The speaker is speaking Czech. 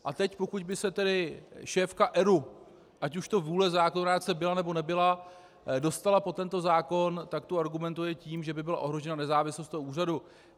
A teď pokud by se tedy šéfka ERÚ, ať už to vůle zákonodárce byla, nebo nebyla, dostala pod tento zákon, tak tu argumentuje tím, že by byla ohrožena nezávislost toho úřadu.